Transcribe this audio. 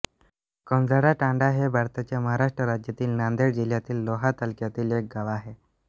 कंजाळातांडा हे भारताच्या महाराष्ट्र राज्यातील नांदेड जिल्ह्यातील लोहा तालुक्यातील एक गाव आहे